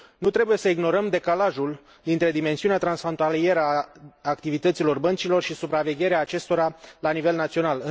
Nu trebuie să ignorăm decalajul dintre dimensiunea transfrontalieră a activităților băncilor și supravegherea acestora la nivel național.